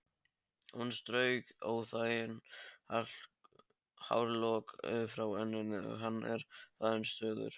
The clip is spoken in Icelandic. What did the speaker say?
Hún strauk óþægan hárlokk frá enninu: Hann er farinn suður